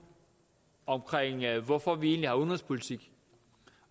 om hvorfor vi egentlig har udenrigspolitik